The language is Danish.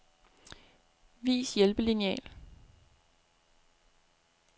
Vis hjælpelineal.